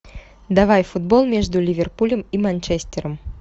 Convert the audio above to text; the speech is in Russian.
давай футбол между ливерпулем и манчестером